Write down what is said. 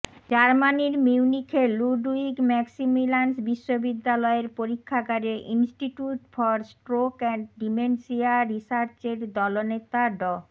জার্মানির মিউনিখের Ludwig Maximilians বিশ্ববিদ্যালয়ের পরীক্ষাগারে institute for stroke and dementia রিসার্চের দলনেতা ড